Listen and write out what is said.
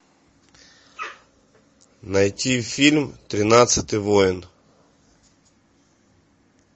найти фильм тринадцатый воин